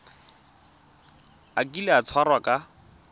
a kile a tshwarwa ka